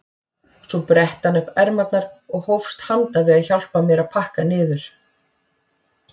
Svo bretti hann upp ermarnar og hófst handa við að hjálpa mér að pakka niður.